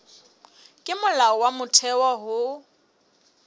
ke molao wa motheo ho